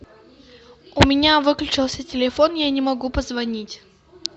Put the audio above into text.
у меня выключился телефон я не могу позвонить